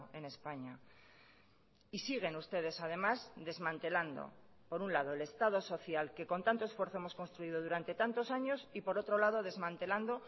en españa y siguen ustedes además desmantelando por un lado el estado social que con tanto esfuerzo hemos construido durante tantos años y por otro lado desmantelando